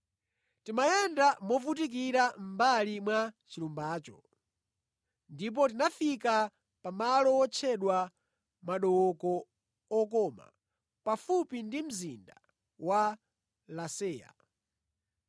Timayenda movutikira mʼmbali mwa chilumbacho ndipo tinafika pa malo wotchedwa Madooko Okoma, pafupi ndi mzinda wa Laseya.